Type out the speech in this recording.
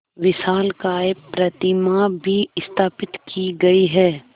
विशालकाय प्रतिमा भी स्थापित की गई है